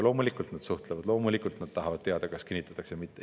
Loomulikult nad suhtlevad, loomulikult nad tahavad teada, kas kinnitatakse või mitte.